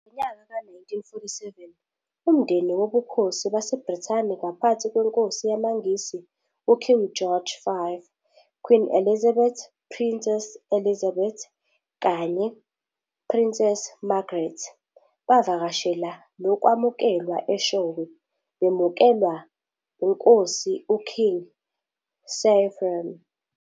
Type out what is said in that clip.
Ngonyaka ka 1947 Umndeni wobuKhosi waseBrithani, ngaphansi kwenkosi yamaNgisi, u-, King George VI, Queen Elizabeth, Princess Elizabeth kanye-Princess Margaret, bavakashela nokwamukelwa eShowe, bemukelwa uNkosi u-King Cyprian.